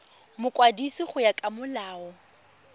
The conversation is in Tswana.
mokwadisi go ya ka molao